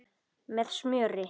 Með smjöri.